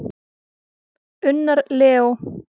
Unnar Leó.